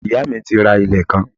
Iyá mi ti ra ilẹ̀ kan